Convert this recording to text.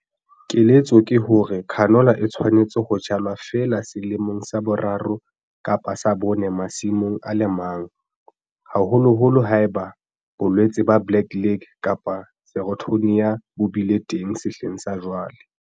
Keletso ke hore canola e tshwanetse ho jalwa feela selemong sa boraro kapa sa bone masimong a le mang, haholoholo ha eba bolwetse ba black leg kapa Sclerotinia bo bile teng sehleng sa jwale.